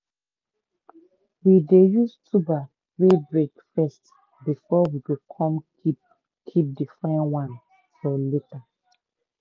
we dey use tuber wey break first before we go come keep keep the fine one for later.